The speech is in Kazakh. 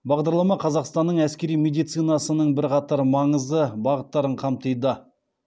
бағдарлама қазақстанның әскери медицинасының бірқатар маңызды бағыттарын қамтиды